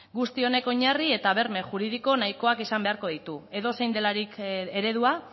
guzti honek oinarri eta berme juridiko nahikoak izan beharko ditu edozein delarik eredua